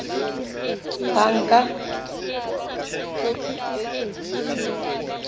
banka